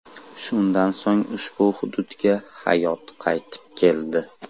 Shundan so‘ng ushbu hududga hayot qaytib keldi.